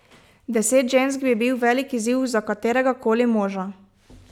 Deset žensk bi bil velik izziv za kateregakoli moža.